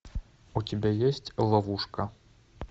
у тебя есть ловушка